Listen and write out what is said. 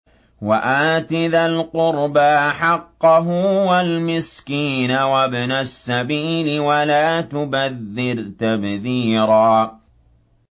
وَآتِ ذَا الْقُرْبَىٰ حَقَّهُ وَالْمِسْكِينَ وَابْنَ السَّبِيلِ وَلَا تُبَذِّرْ تَبْذِيرًا